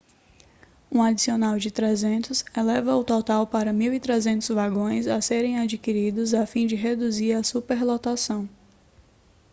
um adicional de 300 eleva o total para 1.300 vagões a serem adquiridos a fim de reduzir a superlotação